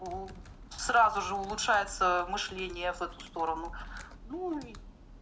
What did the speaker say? сразу же улучшается мышления в эту сторону ну